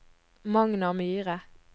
Magnar Myhre